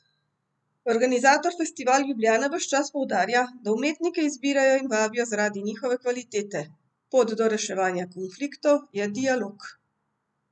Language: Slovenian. Organizator Festival Ljubljana ves čas poudarja, da umetnike izbirajo in vabijo zaradi njihove kvalitete: 'Pot do reševanja konfliktov je dialog.